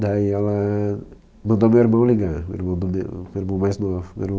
Daí ela mandou meu irmão ligar, meu irmão mande o, meu irmão mais novo.